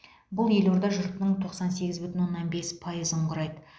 бұл елорда жұртының тоқсан сегіз бүтін оннан бес пайызын құрайды